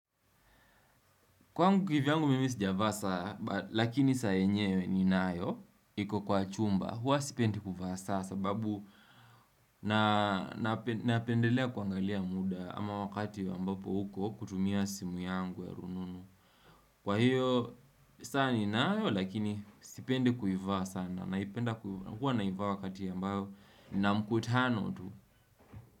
Kwangu kivyangu mimi sijavaa saa, lakini saa yenyewe ninayo, iko kwa chumba, huwa sipendi kuvaa saa sababu napendelea kuangalia muda ama wakati ambapo uko kutumia simu yangu ya rununu. Kwa hiyo, saa ninayo lakini sipendi kuivaa sana, huwa naivaa wakati ambao nina mkutano tu.